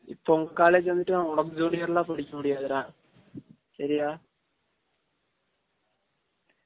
இப்ப உங்க college வந்துட்டு உனக்கு junior லா படிக்க முடியாது டா, சரியா